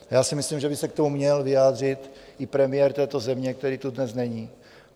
Já si myslím, že by se k tomu měl vyjádřit i premiér této země, který tu dnes není.